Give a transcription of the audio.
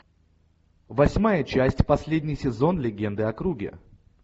восьмая часть последний сезон легенды о круге